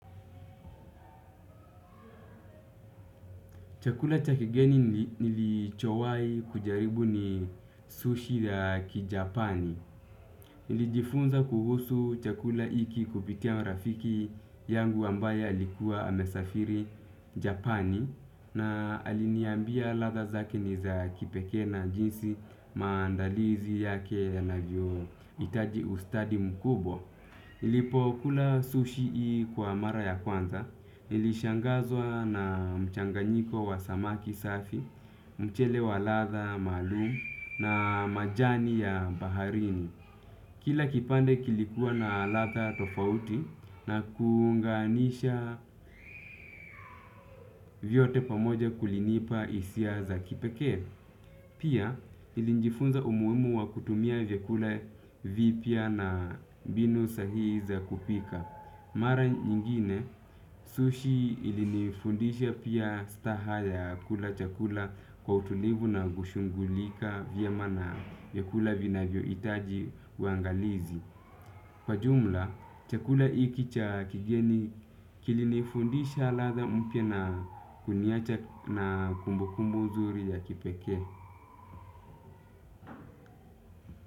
Chakula cha kigeni nilichowai kujaribu ni sushi ya kijapani. Nilijifunza kuhusu chakula hiki kupitia rafiki yangu ambaye alikua amesafiri japani na aliniambia ladha zake ni za kipekee na jinsi maandalizi yake yanavyo hitaji ustadi mkubwa. Nilipo kula sushi hii kwa mara ya kwanza, nilishangazwa na mchanganyiko wa samaki safi, mchele wa ladha maalum na majani ya baharini. Kila kipande kilikuwa na latha tofauti na kuunganisha vyote pamoja kulinipa hisia za kipekee. Pia nilijifunza umuhimu wa kutumia vyakula vipya na mbinu sahii za kupika. Mara nyingine, sushi ilinifundisha pia staha ya kula chakula kwa utulivu na kushughulika vyema na vyakula vinavyo hitaji wangalizi. Kwa jumla, chakula hiki cha kigeni kilinifundisha ladha mpya na kuniacha na kumbukumbu zuri ya kipekee.